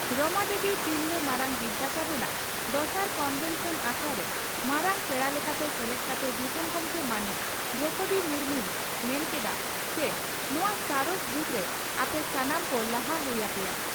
ᱨᱚᱢᱟ ᱫᱮᱵᱤ ᱛᱤᱨᱞᱟᱹ ᱢᱟᱨᱟᱝ ᱵᱤᱨᱫᱟᱹᱜᱟᱲ ᱨᱮᱱᱟᱜ ᱫᱚᱥᱟᱨ ᱠᱚᱱᱵᱷᱮᱱᱥᱚᱱ ᱟᱠᱷᱲᱟᱨᱮ ᱢᱟᱨᱟᱝ ᱯᱮᱲᱟ ᱞᱮᱠᱟᱛᱮ ᱥᱮᱞᱮᱫ ᱠᱟᱛᱮ ᱫᱤᱥᱚᱢ ᱜᱚᱢᱠᱮ ᱢᱟᱹᱱᱤᱡ ᱫᱨᱚᱣᱯᱚᱫᱤ ᱢᱩᱨᱢᱩᱭ ᱢᱮᱱ ᱠᱮᱫᱼᱟ ᱪᱤ ᱱᱚᱣᱟ ᱥᱟᱬᱮᱥ ᱡᱩᱜᱽᱨᱮ ᱟᱯᱮ ᱥᱟᱱᱟᱢ ᱠᱚ ᱞᱟᱦᱟ ᱦᱩᱭ ᱟᱯᱮᱭᱟ ᱾